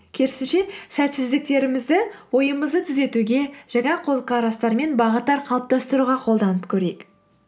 керісінше сәтсіздіктерімізді ойымызды түзетуге жаңа көзқарастар мен бағыттар қалыптастыруға қолданып көрейік